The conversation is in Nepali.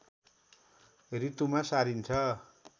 ऋतुमा सारिन्छ